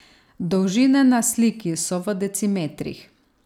Dolžine na sliki so v decimetrih.